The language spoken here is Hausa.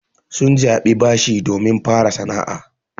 Sun jaɓi bashi domin fara sana'a.